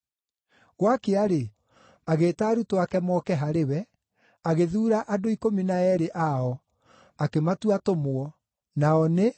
Gwakĩa-rĩ, agĩĩta arutwo ake moke harĩ we, agĩthuura andũ ikũmi na eerĩ ao, akĩmatua atũmwo, nao nĩ: